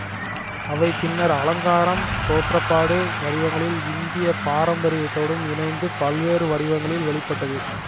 அவை பின்னர் அலங்காரம் தோற்றப்பாடு வடிவங்களில் இந்திய பாரம்பரியத்தோடும் இணைந்து பல்வேறு வடிவங்களில் வெளி பட்டது